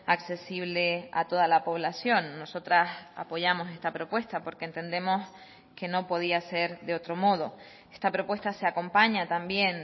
accesible a toda la población nosotras apoyamos esta propuesta porque entendemos que no podía ser de otro modo esta propuesta se acompaña también